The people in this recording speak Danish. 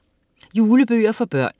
Julebøger for børn